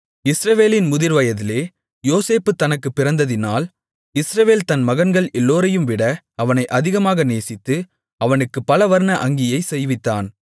இஸ்ரவேலின் முதிர்வயதிலே யோசேப்பு தனக்குப் பிறந்ததினால் இஸ்ரவேல் தன் மகன்கள் எல்லோரையும்விட அவனை அதிகமாக நேசித்து அவனுக்குப் பலவர்ண அங்கியைச் செய்வித்தான்